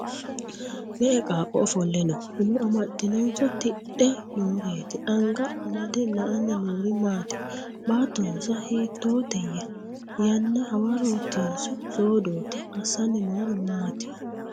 Me'e qaaqo ofolle noo ? Umo amaxinnonso tidhdhe nooreetti? Anga amade la'anni noori maatti? Baattonsa hiittootteya? Yanna hawaroottinso soodootti? Asanni noori maatti m